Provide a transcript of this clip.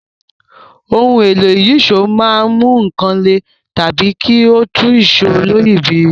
Ohun èlò ìyíṣòó máa ń mú nǹkan lè tàbí kí ó tú ìṣó oloyìibírí